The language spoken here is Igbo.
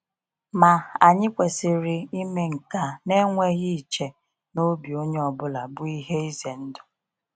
Ma, anyị kwesịrị ime nke a na-enweghị iche na obi onye ọbụla bụ ihe ize ndụ.